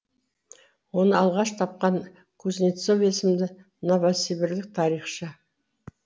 оны алғаш тапқан кузнецов есімді новосібірлік тарихшы